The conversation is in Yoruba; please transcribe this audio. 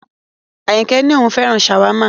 Ayinke ní òun féràn shawarma